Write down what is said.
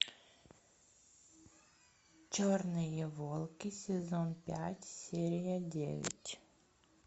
черные волки сезон пять серия девять